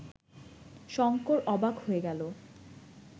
শঙ্কর অবাক হয়ে গেল